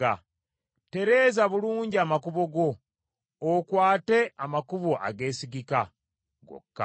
Ttereeza bulungi amakubo go; okwate amakubo ageesigika gokka.